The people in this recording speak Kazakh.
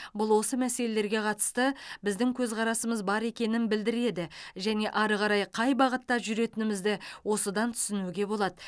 бұл осы мәселелерге қатысты біздің көзқарасымыз бір екенін білдіреді және ары қарай қай бағытта жүретінімізді осыдан түсінуге болады